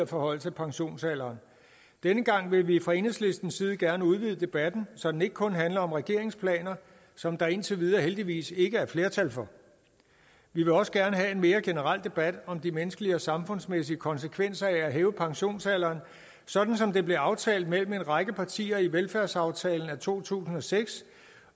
forhøjelse af pensionsalderen denne gang vil vi fra enhedslistens side gerne udvide debatten så den ikke kun handler om regeringens planer som der indtil videre heldigvis ikke er flertal for vi vil også gerne have en mere generel debat om de menneskelige og samfundsmæssige konsekvenser af at hæve pensionsalderen sådan som det blev aftalt mellem en række partier i velfærdsaftalen af to tusind og seks